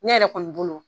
Ne yɛrɛ kɔni bolo